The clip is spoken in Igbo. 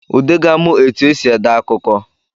Ude ga-amụ etu e si ede akụkọ